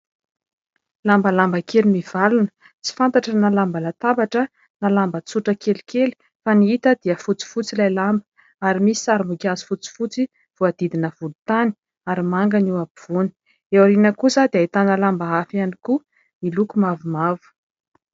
Lambalamba kely mivalona tsy fantatra na lamba latabatra na lamba tsotra kelikely fa ny hita dia fotsifotsy ilay lamba ary misy sarim-boninkazo fotsifotsy, voadidina volontany ary manga ny ampovoany, eo aoriana kosa dia ahitana lamba hafa ihany koa miloko mavomavo.